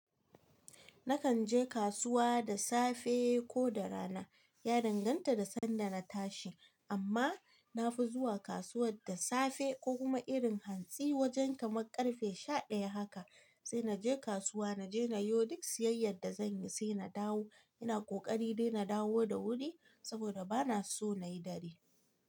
Nakan je kasuwa da safe ko da rana. Ya danganta da sanda na tashi. Amma na fi zuwa kasuwar da safe ko kuma irin hantsi wajen kamar karfe sha daya haka sai naje kasuwa, naje na yo duk siyayyar da zanyi sai na dawo. Ina ƙoƙari dai na dawo da wuri saboda bana so nayi dare.